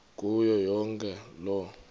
kuyo yonke loo